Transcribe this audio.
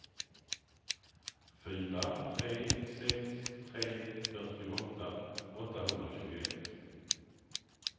fyra tre sex tre fyrtioåtta åttahundratjugoett